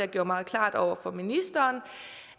gjorde meget klart over for ministeren